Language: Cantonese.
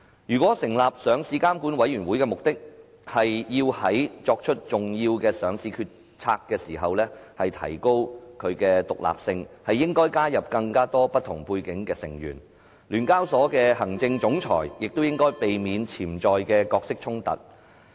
如果成立上市監管委員會的目的，是要在作出重要上市決策的時候提高其獨立性，便應該加入更多不同背景的成員，而聯交所的行政總裁亦應該避免潛在的角色衝突。